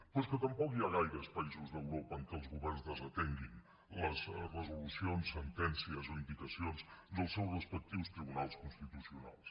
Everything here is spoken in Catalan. però és que tampoc hi ha gaires països d’europa en què els governs desatenguin les resolucions sentències o indicacions dels seus respectius tribunals constitucionals